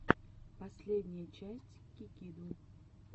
последняя часть кикиду